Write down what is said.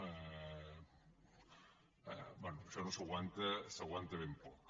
bé això no s’aguanta s’aguanta ben poc